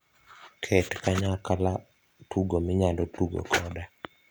ket kanyakala tugo minyala tugo koda